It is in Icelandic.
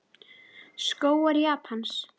Skógar Japans